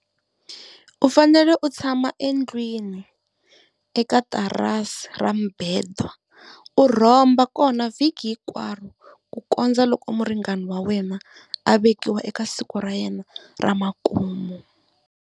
U fanele u tshama endlwini eka tarasi ra mibedwa u rhomba kona vhiki hinkwaro ku kondza loko muringani wa wena a vekiwa eka siku ra yena ra makumu.